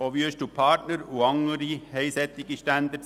Auch Wüest & Partner haben solche Standards.